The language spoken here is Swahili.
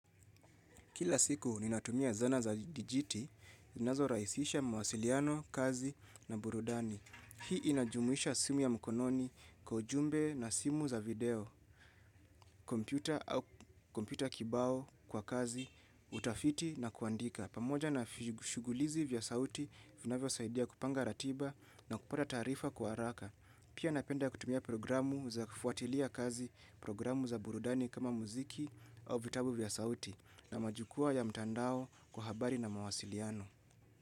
Kila siku ni natumia zana za dijiti, zinazo rahisisha mawasiliano, kazi na burudani. Hii inajumuisha simu ya mkononi kwa ujumbe na simu za video, kompyuta au kompyuta kibao kwa kazi, utafiti na kuandika. Pamoja na shugulizi vya sauti, vinavyo saidia kupanga ratiba na kupata taarifa kwa haraka. Pia napenda kutumia programu za kufuatilia kazi, programu za burudani kama muziki au vitabu vya sauti. Na majukwaa ya mtandao kwa habari na mawasiliano.